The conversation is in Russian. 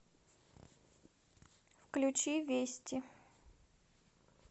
включи вести